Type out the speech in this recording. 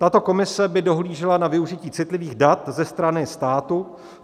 Tato komise by dohlížela na využití citlivých dat ze strany státu.